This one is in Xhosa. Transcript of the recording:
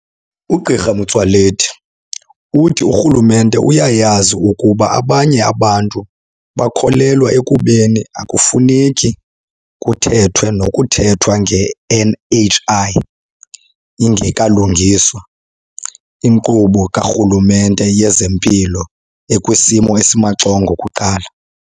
UGq Motsoaledi uthi urhulumente uyayazi ukuba abanye abantu bakholelwa ekubeni akufuneki kuthethwe nokuthethwa nge-NHI, ingekalungiswa inkqubo karhulumente yezempilo ekwisimo esimaxongo kuqala.